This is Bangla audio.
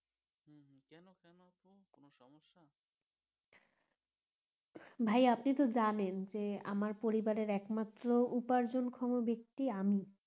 ভাই আপনি তো জানেন যে আমার ঘরে একমাত্র উপর্জনক্ষম ব্যক্তি আমি